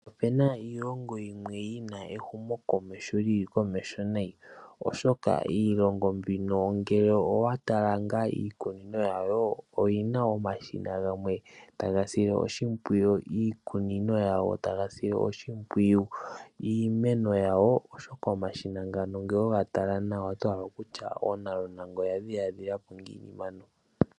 Opena iilongo yimwe yina ehumokomeho lili komeho nayi oshoka iilongo mbino ngele owatala ngaa iikunino yawo oyina omashina gamww taga sile oshimpwiyu iikunino oshoka omashina ngano ngele owega tala nawa otohala okutya oonalunanga oyadhiladhilapo ngiini mpano.